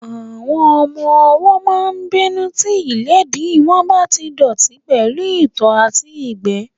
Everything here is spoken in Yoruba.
Àwọn ọmọ-ọwọ́ máa n bínú tí ìléèdí wọn bá tí dọ̀ọ̀tí pẹ̀lú ìtọ̀ àti ìgbẹ́